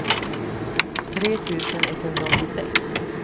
tre tusen etthundraåttiosex